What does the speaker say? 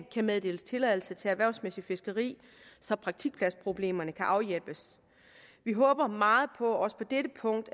kan meddeles tilladelse til erhvervsmæssigt fiskeri så praktikpladsproblemerne kan afhjælpes vi håber meget på at vi også på dette punkt